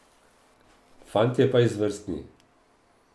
Fantje pa izvrstni.